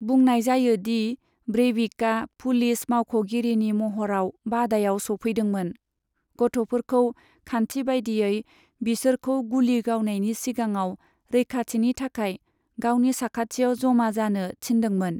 बुंनाय जायो दि ब्रेविकआ पुलिस मावख'गिरिनि महराव बादायाव सौफैदोंमोन, गथ'फोरखौ खान्थि बायदियै बिसोरखौ गुलि गावनायनि सिगाङाव रैखाथिनि थाखाय गावनि साखाथियाव जमा जानो थिन्दोंमोन।